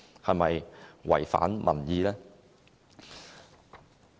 是否違反民意？